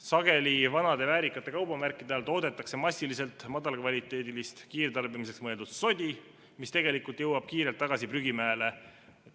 Sageli toodetakse vanade väärikate kaubamärkide all massiliselt madalakvaliteedilist, kiirtarbimiseks mõeldud sodi, mis tegelikult jõuab kiirelt tagasi prügimäele.